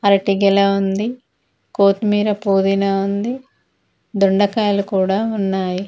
అరటి గెల ఉంది కొత్తిమిర పుదీనా ఉంది దొండకాయలు కూడా ఉన్నాయి.